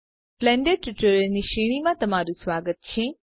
Blender ટ્યુટોરીયલની શ્રેણીમાં તમારું સ્વાગત છે